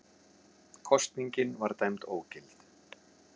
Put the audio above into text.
Kosningin var dæmd ógild